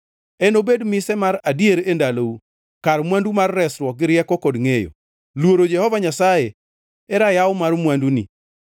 Enobed mise mar adier e ndalou, kar mwandu mar resruok gi rieko kod ngʼeyo; luoro Jehova Nyasaye e rayaw mar mwanduni.